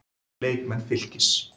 Leikmenn Fylkis